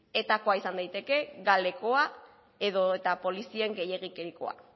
etakoa izan daiteke galekoa edota polizien gehiegikerikoa